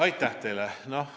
Aitäh teile!